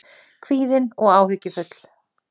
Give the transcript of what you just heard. Kvíðin og áhyggjufull.